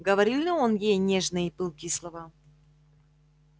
говорил ли он ей нежные и пылкие слова